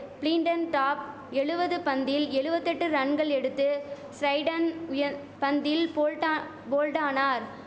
பிளின்டன்டாப் எழுவது பந்தில் எழுவத்தெட்டு ரன்கள் எடுத்து ஸிரைடன் உயந் பந்தில் போல்டா போல்டானார்